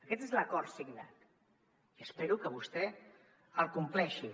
aquest és l’acord signat i espero que vostè el compleixi